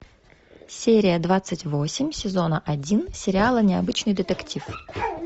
серия двадцать восемь сезона один сериала необычный детектив